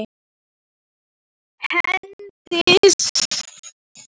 Hendið hýðinu.